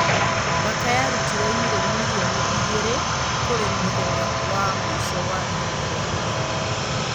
mbaka yarutire yuro mirioni igĩrĩ kũrĩ muthenya wa mũico wa ihinda rĩa gũthama.